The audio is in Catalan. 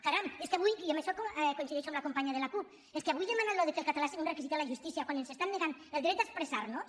caram és que avui i en això coincideixo amb la companya de la cup demanar això que el català sigui un requisit a la justícia quan ens estan negant el dret a expressar·nos